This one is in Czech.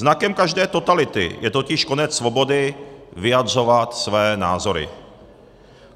Znakem každé totality je totiž konec svobody vyjadřovat své názory.